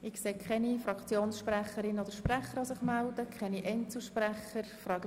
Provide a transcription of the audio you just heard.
Ich sehe keine Fraktionssprecherinnen oder Fraktionssprecher und auch keine Einzelsprecher, die das Wort wünschen.